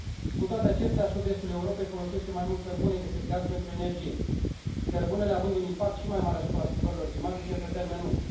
Cu toate acestea, sud estul Europei folosește mai mult cărbune decât gaz pentru energie, cărbunele având un impact și mai mare asupra schimbărilor climatice pe termen lung.